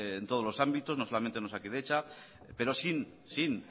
en todos los ámbitos no solamente en osakidetza pero sin